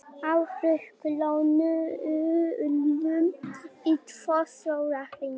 Á hrakhólum í tvo sólarhringa